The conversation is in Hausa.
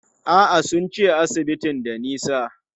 A'a, sun ce asibitin da nisa.